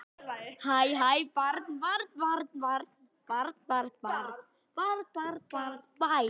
Hvað viltu að ég geri, barn?